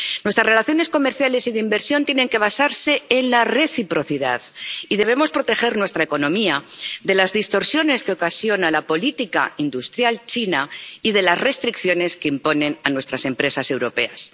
Nuestras relaciones comerciales y de inversión tienen que basarse en la reciprocidad y debemos proteger nuestra economía de las distorsiones que ocasiona la política industrial china y de las restricciones que impone a nuestras empresas europeas.